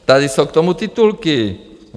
Tady jsou k tomu titulky.